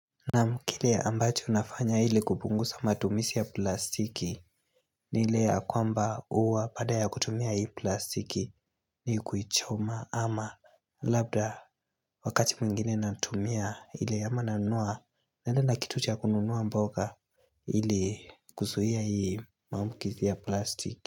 Naaam kile ambacho nafanya ili kupunguza matumizi ya plastiki ni ile ya kwamba uwa baadaa ya kutumia ile plastiki ni kuichoma ama labda wakati mwingine natumia ile ama nanunua naenda na kitu cha kununuwa mboga ili kuzuhia hii matumizi ya plastiki.